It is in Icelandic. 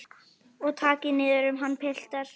Og takið niður um hann piltar.